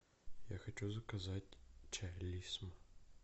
я хочу заказать чай лисма